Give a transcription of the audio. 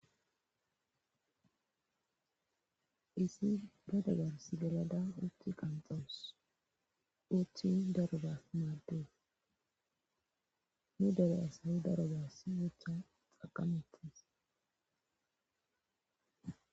isi ba dagarsigalada uthi qanxawus uthin darobas maaddees nu daro asayi daro ba sizutha xaqametis